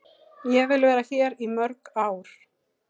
Ég vil vera hér í mörg ár.